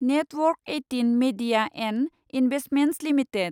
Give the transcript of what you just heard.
network eighteen media and investments limited